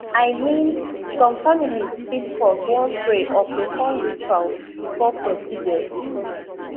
i mean some families fit pause wan pray or perform rituals before procedures